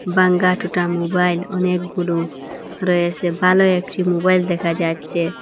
Pan কার্ট ওটা mobile অনেকগুলো রয়েসে ভালো একটি মুবাইল দেখা যাচ্ছে।